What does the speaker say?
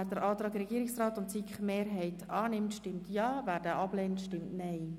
Wer den Antrag Regierungsrat und SiK-Mehrheit annimmt, stimmt mit Ja, wer diesen ablehnt, stimmt mit Nein.